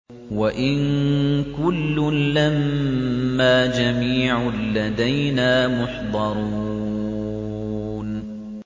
وَإِن كُلٌّ لَّمَّا جَمِيعٌ لَّدَيْنَا مُحْضَرُونَ